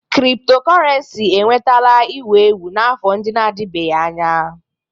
Cryptocurrency enwetala ewu ewu n'afọ ndị na-adịbeghị anya.